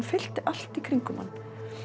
fyllti allt í kringum mann